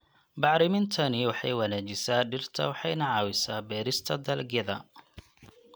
Bacrimintani waxay wanaajisaa dhirta waxayna caawisaa beerista dalagyada.